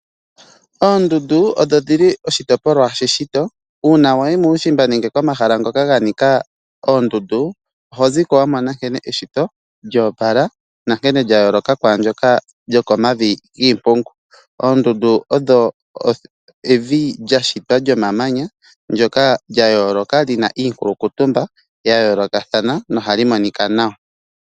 Oondundu odho dhili oshitopolwa she shito uuna wayi muushimba nenge wayi komahala ngoka ga nika oondundu ohozi ko wamona kene eshito lyoopala nankene lya yooloka kwaandyoka lyo komavi giipungu. Oondundu odho evi lya shitwa lyomamanya ndyoka lya yooloka li na iithulukutumba ya yoolokathana no oha li monika nawa.